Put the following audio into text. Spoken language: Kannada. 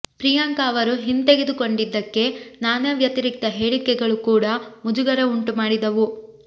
ಪ್ರಿಯಾಂಕಾ ಅವರು ಹಿಂತೆಗೆದುಕೊಂಡಿದ್ದಕ್ಕೆ ನಾನಾ ವ್ಯತಿರಿಕ್ತ ಹೇಳಿಕೆಗಳು ಕೂಡ ಮುಜುಗರ ಉಂಟು ಮಾಡಿದವು